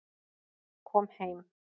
Kom heim